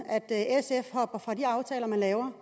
at sf hopper fra de aftaler man laver